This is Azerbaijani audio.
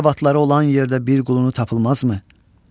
Ərəb atları olan yerdə bir qulunu tapılmazmı?